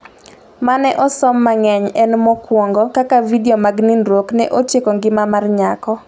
mane osom mangeny en mokuongo ,Kaka vidio mag nindruok ne otieko ngima mar nyako